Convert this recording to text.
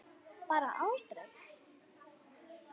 Bara aldrei.